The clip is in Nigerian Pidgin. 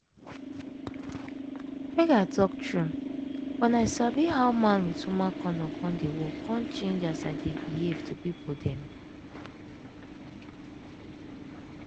make i talk true wen i sabi how man with woman kondom dey work come change as i dey behave to pipo dem.